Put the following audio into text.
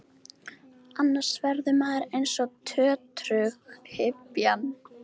Annars verður maður eins og tötrughypjan.